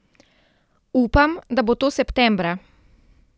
Upam, da bo to septembra ...